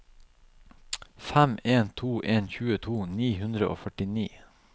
fem en to en tjueto ni hundre og førtini